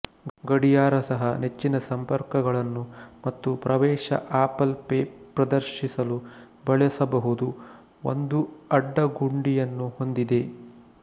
ಗಡಿಯಾರ ಸಹ ನೆಚ್ಚಿನ ಸಂಪರ್ಕಗಳನ್ನು ಮತ್ತು ಪ್ರವೇಶ ಆಪಲ್ ಪೇ ಪ್ರದರ್ಶಿಸಲು ಬಳಸಬಹುದು ಒಂದು ಅಡ್ಡ ಗುಂಡಿಯನ್ನು ಹೊಂದಿದೆ